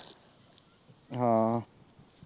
ਹਾਂ।